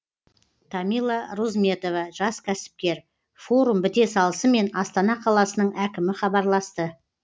тамила розметова жас кәсіпкер форум біте салысымен астана қаласының әкімі хабарласты